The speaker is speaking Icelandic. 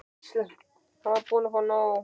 Hann er búinn að fá nóg.